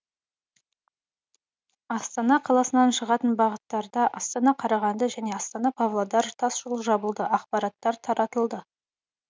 астана қаласынан шығатын бағыттарда астана қарағанды және астана павлодар тасжолы жабылды ақпараттар таратылды